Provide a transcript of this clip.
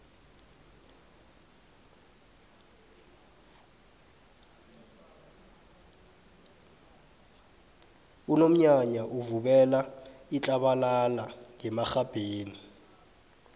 unomnyanya uvubela itlabalala ngemarhabheni